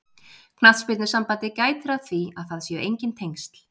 Knattspyrnusambandið gætir að því að það séu enginn tengsl.